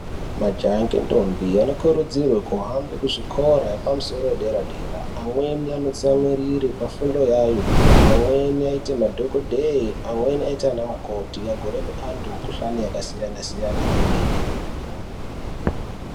Majaha ngendombi anokurudzirwe kuhambe kuzvikora epamusoro edera dera. Amweni anotsamwirire pafundo yayo. Amweni aite madhokodheye, amweni oite anamukoti agorape antu emukuhkane yakasiyana siyana kwemene.